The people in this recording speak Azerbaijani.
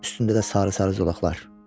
Üstündə də sarı-sarı zolaqlar.